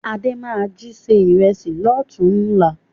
Adé máa jí se ìrẹsì lọ́tùn-únla